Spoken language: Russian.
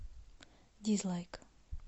дизлайк